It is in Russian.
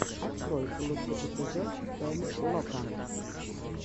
открой лучший эпизод стэнлока